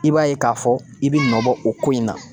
I b'a ye k'a fɔ i bi nɔbɔ o ko in na.